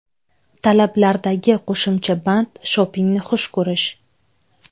Talablardagi qo‘shimcha band shopingni xush ko‘rish.